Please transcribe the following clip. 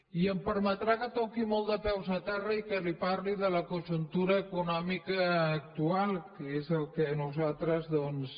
i em permetrà que toqui molt de peus a terra i que li parli de la conjuntura econòmica actual que és el que nosaltres doncs